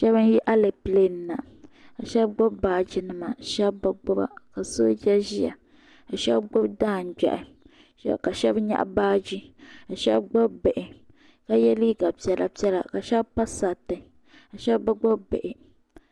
Shɛba n yi alɛpilɛ ni na ka shɛba gbubi baaji nima ka shɛba bi gbuba ka sooja ʒiya ka shɛba gbubi daangbɛhi ka shɛba nyaɣi baaji ka shɛba gbubi bihi ka yɛ liiga piɛla piɛla ka shɛba pa sariti ka shɛba bi gbubi bihi.